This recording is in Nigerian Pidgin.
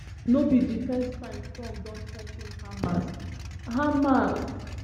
no be di first time trump don threa ten hamas hamas